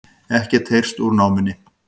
Ekkert heyrst úr námunni